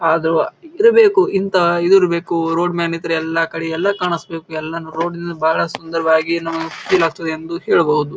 ಆದ್ರೂ ಇರಬೇಕು ಇಂತಹ ಇದು ಇರಬೇಕು ರೋಡ್ ಮ್ಯಾಗಿಂತ್ರ ಎಲ್ಲಾ ಕಡೆ ಎಲ್ಲ ಕಾಣಿಸಬೇಕು ಯಲ್ಲನು ರೋಡ ದಿಂದ ಬಹಳ ಸುಂದರವಾಗಿ ನಮಗ್ ಫೀಲ್ ಆಗ್ತದ ಎಂದು ಹೇಳಬಹುದು.